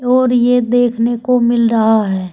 और ये देखने को मिल रहा है।